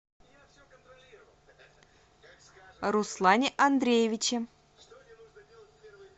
руслане андреевиче